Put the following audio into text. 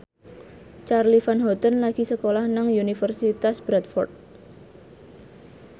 Charly Van Houten lagi sekolah nang Universitas Bradford